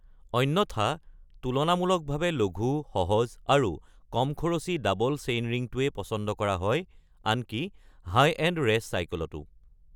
অন্যথা তুলনামূলকভাৱে লঘু, সহজ, আৰু কম খৰচী ডাবল চেইনৰিংটোৱেই পছন্দ কৰা হয়, আনকি হাই-এণ্ড ৰেচ চাইকেলতো।